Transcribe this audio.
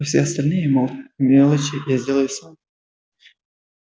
а все остальные мелочи я сделаю сам